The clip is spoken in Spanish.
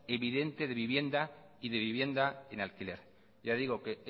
evidente de vivienda y de vivienda en alquiler ya digo que